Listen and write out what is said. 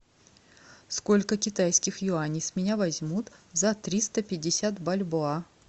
сколько китайских юаней с меня возьмут за триста пятьдесят бальбоа